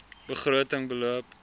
begroting beloop